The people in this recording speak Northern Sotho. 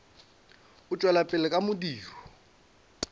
o tšwela pele ka modiro